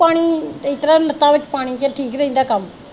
ਪਾਣੀ ਇਸ ਤਰ੍ਹਾਂ ਲੱਤਾਂ ਵਿੱਚ ਪਾਣੀ ਚ ਠੀਕ ਰਹਿੰਦਾ ਕੰਮ।